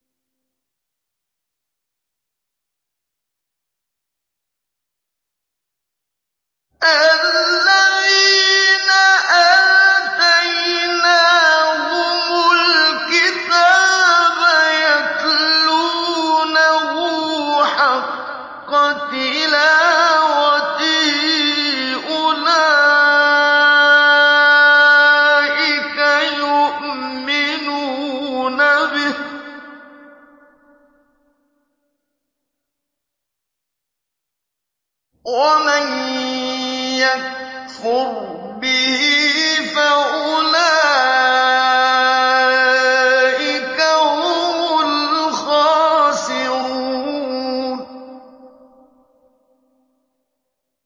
الَّذِينَ آتَيْنَاهُمُ الْكِتَابَ يَتْلُونَهُ حَقَّ تِلَاوَتِهِ أُولَٰئِكَ يُؤْمِنُونَ بِهِ ۗ وَمَن يَكْفُرْ بِهِ فَأُولَٰئِكَ هُمُ الْخَاسِرُونَ